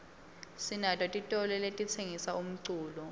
sinato titolo letitsengisa umculo